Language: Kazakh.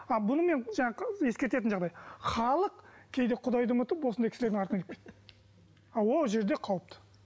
а бұны мен жаңағы ескертетін жағдай халық кейде құдайды ұмытып осындай кісілердің артынан кіріп кетті ал ол жерде қауіпті